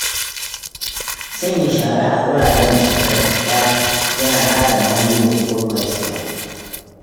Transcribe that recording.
Sanya shara a wuraren da suka dace yana kare muhalli daga gurɓacewa.